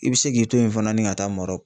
I bi se k'i to yen fana ni ka taa Marɔku